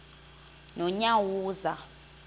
nonyawoza